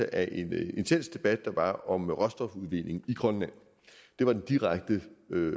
af en intens debat der var om råstofudvinding i grønland det var den direkte